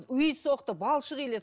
үй соқты балшық иледі